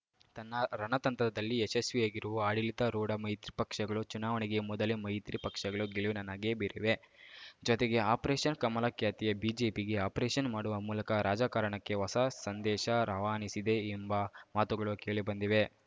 ತನ್ನ ರಣತಂತ್ರದಲ್ಲಿ ಯಶಸ್ವಿಯಾಗಿರುವ ಆಡಳಿತಾರೂಢ ಮೈತ್ರಿ ಪಕ್ಷಗಳು ಚುನಾವಣೆಗೆ ಮೊದಲೇ ಮೈತ್ರಿ ಪಕ್ಷಗಳು ಗೆಲುವಿನ ನಗೆ ಬೀರಿವೆ ಜೊತೆಗೆ ಆಪರೇಷನ್‌ ಕಮಲ ಖ್ಯಾತಿಯ ಬಿಜೆಪಿಗೇ ಆಪರೇಷನ್‌ ಮಾಡುವ ಮೂಲಕ ರಾಜಕಾರಣಕ್ಕೆ ಹೊಸ ಸಂದೇಶ ರವಾನಿಸಿದೆ ಎಂಬ ಮಾತುಗಳು ಕೇಳಿ ಬಂದಿವೆ